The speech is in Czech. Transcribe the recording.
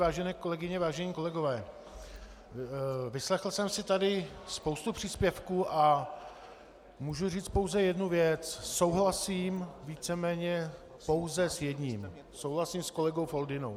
Vážené kolegyně, vážení kolegové, vyslechl jsem si tady spoustu příspěvků a můžu říct pouze jednu věc - souhlasím víceméně pouze s jedním, souhlasím s kolegou Foldynou.